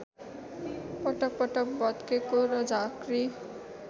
पटकपटक भत्केको र झाँक्री